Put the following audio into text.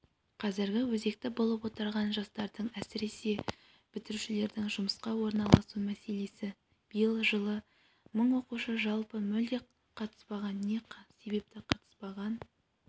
қазір өзекті болып отырған жастардың әсіресе бітірушілердің жұмысқа орналасу мәселесі биыл жылы мың оқушы жалпы мүлде қатыспаған не себепті қатыспаған